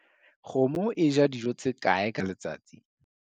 Kgomo e ja dijo tse kae ka letsatsi?